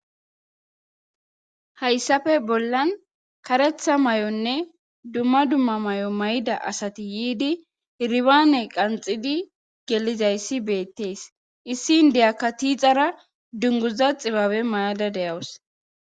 hayssafe bollan karetha maayonne dumma dumma mayo mayida asati yiidi iribaane qanxidi gelizayssi beettees issi indeyakka tiixara dunguza xibabe mayada de'awus